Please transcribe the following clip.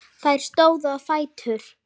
Þeir stóðu á fætur.